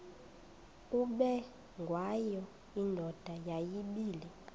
ubengwayo indoda yayibile